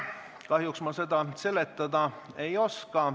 Kahjuks ma seda seletada ei oska.